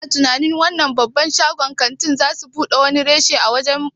Kana tunanin wannan babban shagon ƙanti zasu buɗe wani reshe a wani waje?